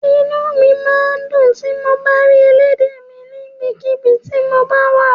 Inú mi máa ń dùn tí mo bá ń rí elédè mi níbikíbi tí mo bá wà